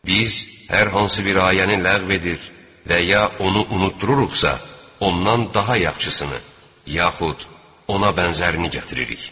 Biz hər hansı bir ayəni ləğv edir və ya onu unutdururuqsa, ondan daha yaxşısını yaxud ona bənzərini gətiririk.